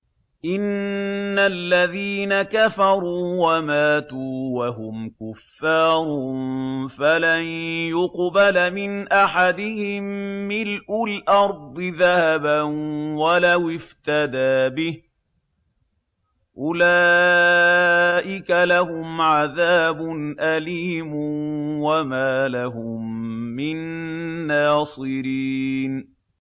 إِنَّ الَّذِينَ كَفَرُوا وَمَاتُوا وَهُمْ كُفَّارٌ فَلَن يُقْبَلَ مِنْ أَحَدِهِم مِّلْءُ الْأَرْضِ ذَهَبًا وَلَوِ افْتَدَىٰ بِهِ ۗ أُولَٰئِكَ لَهُمْ عَذَابٌ أَلِيمٌ وَمَا لَهُم مِّن نَّاصِرِينَ